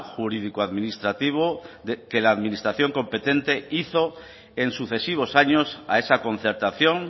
jurídico administrativo que la administración competente hizo en sucesivos años a esa concertación